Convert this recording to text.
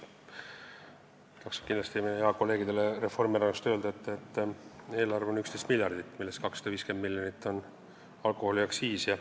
Meie headele kolleegidele Reformierakonnast tasub kindlasti öelda, et eelarve on 11 miljardit, millest alkoholiaktsiise on 250 miljonit.